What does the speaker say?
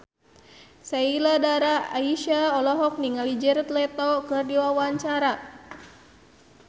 Sheila Dara Aisha olohok ningali Jared Leto keur diwawancara